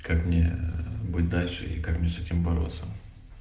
как мне быть дальше и как мне с этим бороться